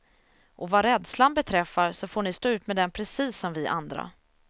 Och vad rädslan beträffar så får ni stå ut med den precis som vi andra.